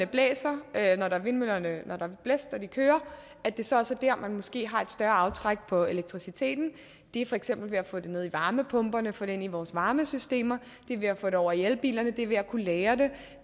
blæser og vindmøllerne kører at det så også er der man måske har et større aftræk på elektriciteten det er for eksempel ved at få det ned i varmepumper få det ind i vores varmesystemer det er ved at få det over i elbilerne det er ved at kunne lagre det